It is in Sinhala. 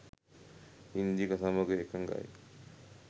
ඉන්දික සමඟ එකගයි.